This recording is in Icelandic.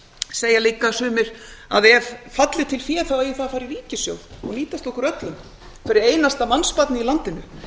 segja líka sumir að ef falli til fé eigi það að fara í ríkissjóð og nýtast okkur öllum hverju einasta mannsbarni í landinu